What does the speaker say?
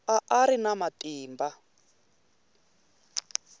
a a ri na matimba